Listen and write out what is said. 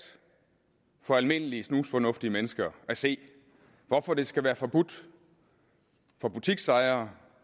for almindelige snusfornuftige mennesker at se hvorfor det skal være forbudt for butiksejere